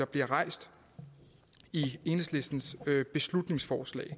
bliver rejst i enhedslistens beslutningsforslag